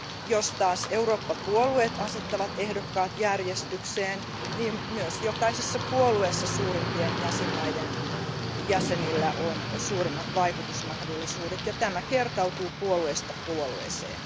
Jos taas Eurooppa puolueet asettavat ehdokkaat järjestykseen, myös jokaisessa puolueessa suurimpien jäsenvaltioiden jäsenillä on suurimmat vaikutusmahdollisuudet ja tämä kertautuu puolueesta puolueeseen.